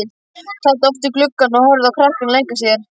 Sat oft við gluggann og horfði á krakkana leika sér.